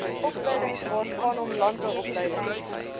opleidingwaarvanom landbou opleiding